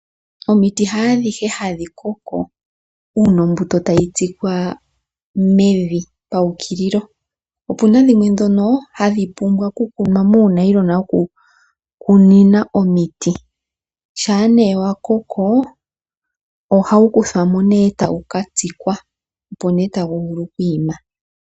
Omiti haadhihe hadhi koko uuna ombuto tayi tsikwa mevi pawukililo opuna dhimwe dhono hadhi pumbwa okukunwa muunayilona woku kunina omiti ,shampa nee wakoko ohawu kuthwamo nee etawu katsikwa opo nee tawu vulu oku ima.